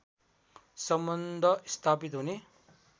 सम्बन्ध स्थापित हुने